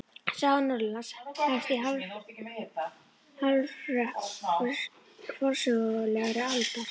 Saga Norðurlanda hefst í hálfrökkri forsögulegrar aldar.